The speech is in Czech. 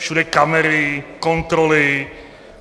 Všude kamery, kontroly.